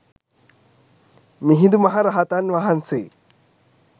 මිහිඳු මහ රහතන් වහන්සේ